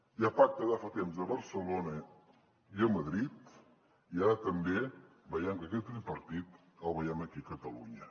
hi ha pacte de fa temps a barcelona i a madrid i ara també veiem que aquest tripartit el veiem aquí a catalunya